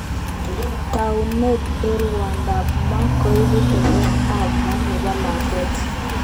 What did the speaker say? Taunet eng rwondo ab moo koibu teketet ab moo nebo lakwet.